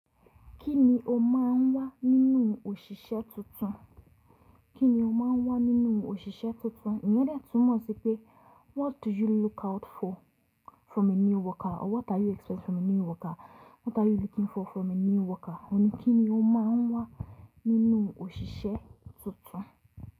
Kí ni o máa ń wá nínú òṣìṣẹ́ tuntun? Kí ni o máa ń wá nínú òṣìṣẹ́ tuntun? Ìyẹn de túmọ̀ sí pé what do you look out for from a new worker? Or what are you expect from a new worker? What are you looking for from a new worker? Òun ni kí ni o máa ń wá nínú òṣìṣẹ́ tuntun.